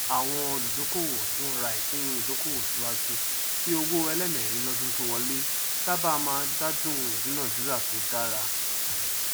àwọn olùdókòwò tí wọn ra ìpín ìdókòwò síwájú kí owó ẹlẹẹmẹrin lọdún tó wọlé sáábà máa gbádùn ìdúnádúrà tó dára